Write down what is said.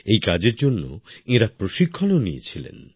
এই কাজের জন্য এনারা প্রশিক্ষণ ও নিয়েছিলেন